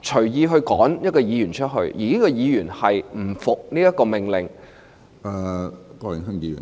隨意驅逐一位議員，而這位議員不服命令......